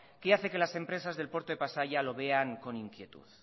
que hace que las empresas del puerto de pasaia lo vean con inquietud